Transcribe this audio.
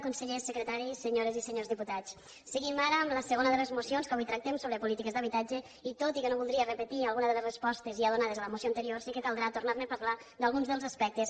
consellers secretaris senyores i senyors diputats seguim ara amb la segona de les mocions que avui tractem sobre polítiques d’habitatge i tot i que no voldria repetir algunes de les respostes ja donades a la moció anterior sí que caldrà tornar a parlar d’alguns dels aspectes